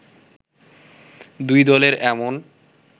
দুই দলের এমন